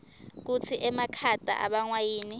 kutsi emakhata abangwa yini